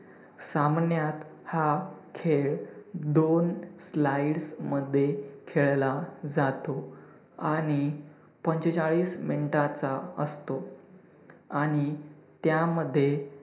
सामन्यात हा खेळ दोन slide मध्ये खेळला जातो आणि पंचेचाळीस minutes चा असतो आणि त्यामध्ये